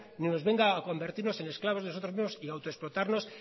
ni nos venga a convertirnos en esclavos nosotros mismos y autoexplotarnos